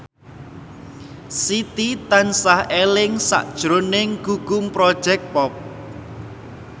Siti tansah eling sakjroning Gugum Project Pop